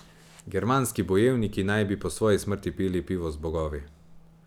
Germanski bojevniki naj bi po svoji smrti pili pivo z bogovi.